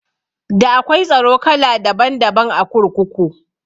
Da akwai tsaro kala daban daban a kurkuku